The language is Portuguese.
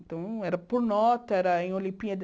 Então, era por nota, era em Olimpíada.